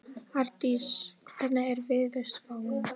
Ardís, hvernig er veðurspáin?